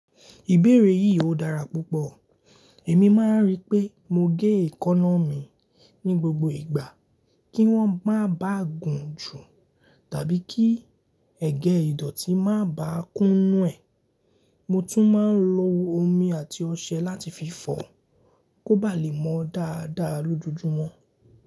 Ìbéèrè yìí ò dára púpọ̀. Èmi máa ń rí pé mo gé èékánná mi ní gbogbo ìgbà kí wọ́n máa ba à gùn jù tàbí kí ẹ̀gẹ́ ìdọ̀tí má ba à kún nù ẹ̀. Mo tún máa ń lo omi àti ọṣẹ láti fi fọ̀ kó ba lè mọ dáadáa lójoojúmọ́.